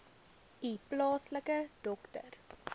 u plaaslike dokter